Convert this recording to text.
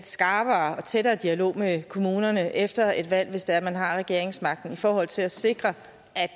skarpere og tættere dialog med kommunerne efter et valg hvis det er man har regeringsmagten i forhold til at sikre